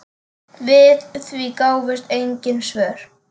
Við því gáfust engin svör.